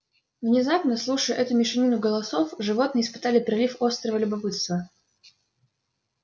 внезапно слушая эту мешанину голосов животные испытали прилив острого любопытства